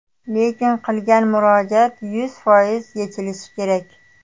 Lekin qilingan murojaat yuz foiz yechilishi kerak.